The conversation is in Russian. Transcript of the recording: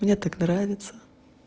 мне так нравится